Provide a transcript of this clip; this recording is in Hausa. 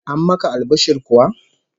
An maka albishir kuwa?